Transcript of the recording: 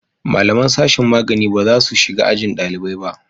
Malaman sashin magani ba za su shiga ajin dalibai ba